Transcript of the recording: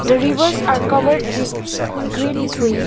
The rivers are covered with green trees.